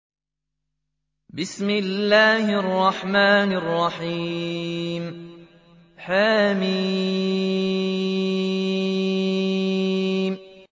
حم